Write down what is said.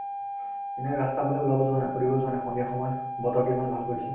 এনে ৰাস্তাৰফালে ওলাব যোৱানা ফুৰিব যোৱানা সন্ধিয়া সময় বতৰতো ইমান ভাল কৰিছে